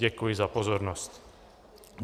Děkuji za pozornost.